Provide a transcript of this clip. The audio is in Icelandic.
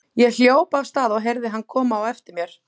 Ég hljóp af stað og heyrði hann koma á eftir mér.